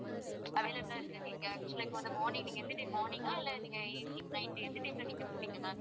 available லா இருக்கான்னு கேக்குறீங்க actual லா இப்போ வந்து morning நீங்க வந்துட்டு morning ஆ இல்ல நீங்க evening, night எந்த time ல நீங்க போறீங்க ma'am